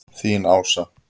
Þín, Ása.